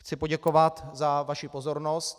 Chci poděkovat za vaši pozornost.